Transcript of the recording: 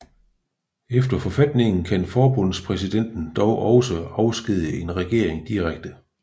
Efter forfatningen kan forbundspræsidenten dog også afskedige en regering direkte